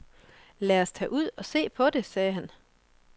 Lad os tage ud og se på det, sagde han.